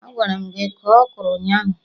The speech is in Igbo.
Agwara m gị kọọ Okro ụnyaahụ